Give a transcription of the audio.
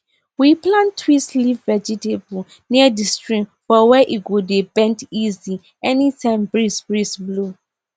we plant twist leaf vegetable near di stream for where e go dey bend easy anytime breeze breeze blow